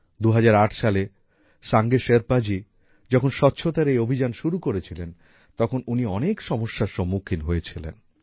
২০০৮ সালে সাঙ্গে শেরপা জি যখন স্বছতার এই অভিযান শুরু করেছিলেন তখন উনি অনেক সমস্যার সম্মুখীন হয়েছিলেন